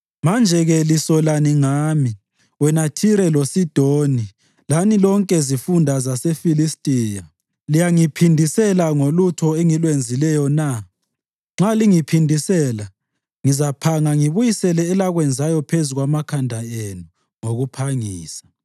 Manje-ke lisolani ngami, wena Thire loSidoni lani lonke zifunda zaseFilistiya? Liyangiphindisela ngolutho engilwenzileyo na? Nxa lingiphindisela, ngizaphanga ngibuyisele elakwenzayo phezu kwamakhanda enu ngokuphangisa.